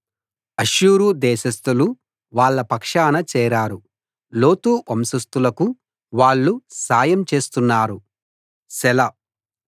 అష్షూరు దేశస్థులు వాళ్ళ పక్షాన చేరారు లోతు వంశస్థులకు వాళ్ళు సాయం చేస్తున్నారు సెలా